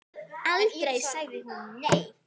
Aldrei sagði hún nei.